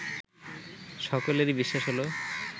সকলেরই বিশ্বাস হল